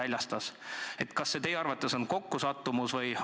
Kas see on teie arvates kokkusattumus?